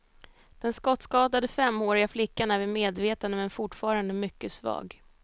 Den skottskadade femåriga flickan är vid medvetande men fortfarande mycket svag.